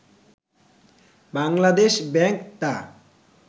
Bangladesh bank তা